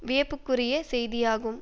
வியப்புக்குரிய செய்தியாகும்